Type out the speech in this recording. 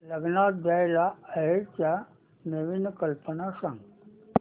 लग्नात द्यायला आहेराच्या नवीन कल्पना सांग